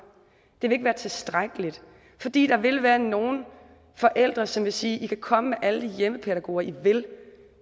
det vil ikke være tilstrækkeligt fordi der vil være nogle forældre som vil sige i kan komme med alle de hjemmepædagoger i vil